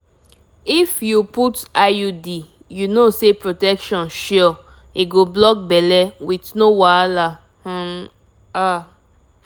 if dem put coil you fit comot am comot am anytime na stress-free way to block belle i mean you sef know!